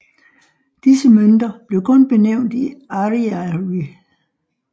Disse mønter blev kun benævnt i ariary